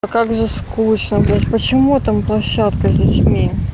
а как же скучно блядь почему там площадка с детьми